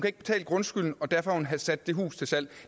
ikke betale grundskylden og derfor har hun sat sit hus til salg